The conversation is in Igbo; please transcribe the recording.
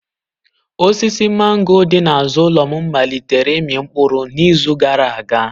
Osisi mango dị n'azụ ụlọ m malitere ịmị mkpụrụ n'izu gara aga.